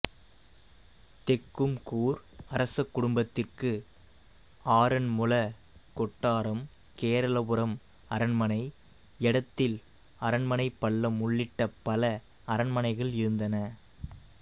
தெக்கும்கூர் அரசக் குடும்பத்திற்கு ஆறன்முள கொட்டாரம் கேரளபுரம் அரண்மனை எடத்தில் அரண்மனை பல்லம் உள்ளிட்ட பல அரண்மனைகள் இருந்தன